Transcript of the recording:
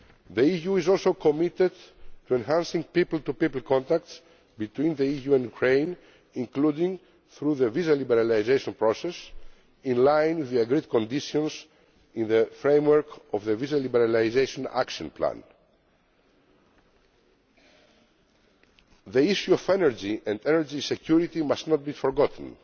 measures. The EU is also committed to enhancing people to people contacts between the EU and Ukraine, including through the visa liberalisation process, in line with the agreed conditions in the framework of the Visa Liberalisation Action Plan. The issue of energy and energy security must not be